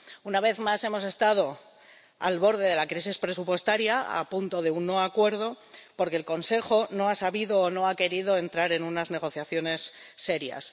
Una vez más hemos estado al borde de la crisis presupuestaria, a punto de un no acuerdo, porque el Consejo no ha sabido o no ha querido entrar en unas negociaciones serias.